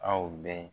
Aw bɛ